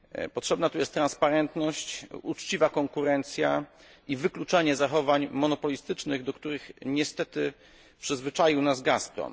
Potrzebna tu jest transparentność, uczciwa konkurencja i wykluczanie zachowań monopolistycznych, do których niestety przyzwyczaił nas Gazprom.